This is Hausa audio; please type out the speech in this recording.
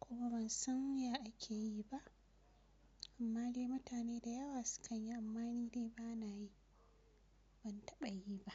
kuma ban san ya ake yi ba. Amma dai mutane da yawa su kan yi amma ni dai ba na yi, ban taɓa yi ba.